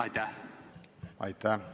Aitäh!